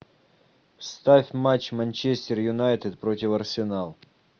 ставь матч манчестер юнайтед против арсенал